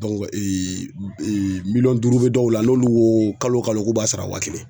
miliyɔn duuru be dɔw la n'olu koo kalo kalo k'u b'a sara wa kelen